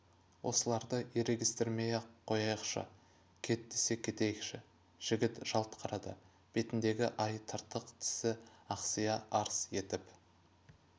осыларды ерегестірмей-ақ қояйықшы кет десе кетейкші жігіт жалт қарады бетіндегі ай тыртық тісі ақсия арс етіп